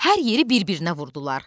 Hər yeri bir-birinə vurdular.